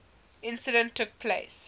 incident took place